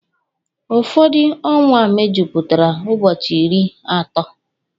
Ụfọdụ ọnwa mejupụtara ụbọchị iri atọ